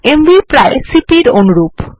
MV প্রায় CP এর অনুরূপ